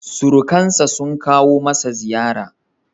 Surukansa sun kawo masa ziyara.